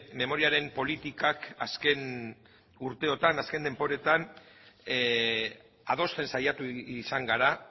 memoriaren politikak azken urteotan azken denboretan adosten saiatu izan gara